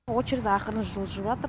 очередь ақырын жылжыватыр